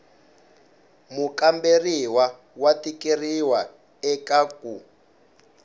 mukamberiwa wa tikeriwa eka ku